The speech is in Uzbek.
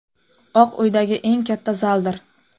Oq uydagi eng katta zaldir.